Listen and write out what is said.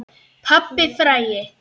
Pabbinn frægi.